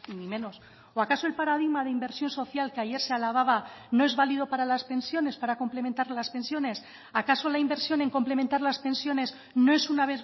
ni menos o acaso el paradigma de inversión social que ayer se alababa no es válido para las pensiones para complementar las pensiones acaso la inversión en complementar las pensiones no es una